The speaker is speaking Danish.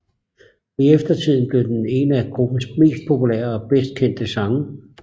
I eftertiden blev den en af gruppens mest populære og bedst kendte sange